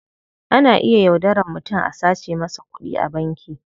Ana iya yaudaran mutum a sace masa kudi a banki.